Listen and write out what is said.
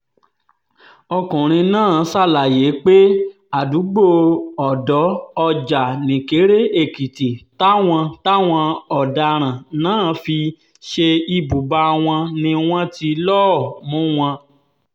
ọkùnrin náà ṣàlàyé pé àdúgbò ọ̀dọ́-ọjà nìkéré-èkìtì táwọn táwọn ọ̀daràn náà fi ṣe ibùba wọn ni wọ́n ti lọ́ọ̀ mú wọn